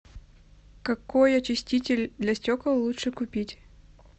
какой очиститель для стекол лучше купить